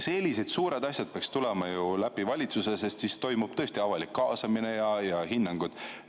Sellised suured asjad peaksid tulema ju läbi valitsuse, sest siis toimub avalik kaasamine ja hinnanguid.